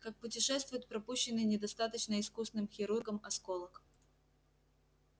как путешествует пропущенный недостаточно искусным хирургом осколок